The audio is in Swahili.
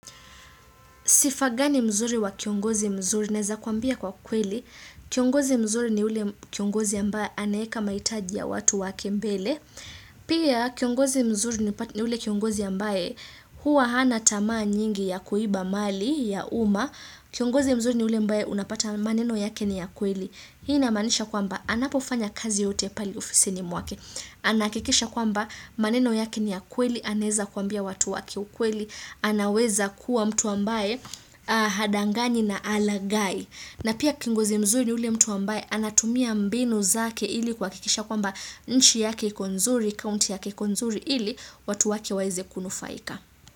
Sifa gani mzuri kwa kiongozi mzuri naweza kuambia kwa kweli, kiongozi mzuri ni yule kiongozi ambaye anaweka mahitaji ya watu wake mbele, pia kiongozi mzuri ni yule kiongozi ambaye huwa hana tamaa nyingi ya kuiba mali ya umma, kiongozi mzuri ni yule ambaye unapata maneno yake ni ya kweli. Hii inamaanisha kwamba anapofanya kazi yoyote pale ofisini mwake. Anakikisha kwamba maneno yake ni ya kweli, anaweza kuambia watu wake ukweli, anaweza kuwa mtu ambaye hadanganyi na halaghai. Na pia kiongozi mzuri ni yule mtu ambaye anatumia mbinu zake ili kuhakikisha kwamba nchi yake iko nzuri, kaunti yake iko nzuri ili watu wake waweze kunufaika.